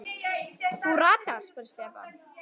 Þú ratar? spurði Stefán.